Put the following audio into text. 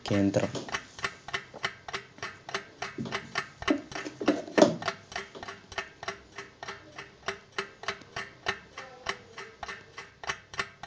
കേന്ദ്രം